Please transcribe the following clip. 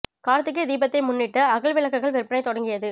கார்த்திகை தீபத்தை முன்னிட்டு அகல் விளக்குகள் விற்பனை தொடங்கியது